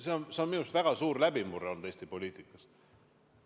See aga on minu arust väga suur läbimurre olnud Eesti poliitikas.